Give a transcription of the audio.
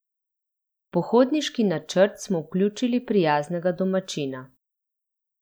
V pohodniški načrt smo vključili prijaznega domačina.